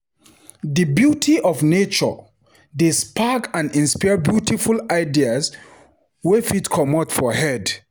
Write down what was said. Di beauty of nature dey spark and inspire beautiful ideas wey fit comot for head.